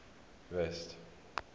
rest